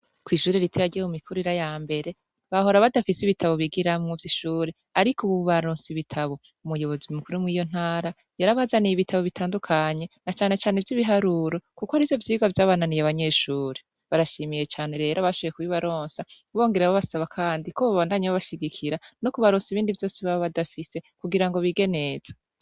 Kw'ishuri ritoya ryo mu mikurira ya mbere bahora badafise ibitabo bigiramwo vy'ishure ariko ubu baronse ibitabo, umuyobozi mukuru mw'iyo ntara yarabazaniye ibitabo bitandukanye na canecane vy'ibiharuro kuko arivyo vyigwa vyabananiye abanyeshuri, barashimiye cane rero abashoboye kubibaronsa bongera babasaba kandi ko bobandanya babashigikira no kubaronsa ibindi vyose boba badafise kugira ngo bige neza.